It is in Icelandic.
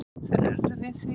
Þeir urðu við því.